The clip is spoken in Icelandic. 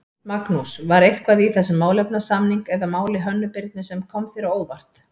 Magnús: var eitthvað í þessum málefnasamning eða máli Hönnu Birnu sem kom þér á óvart?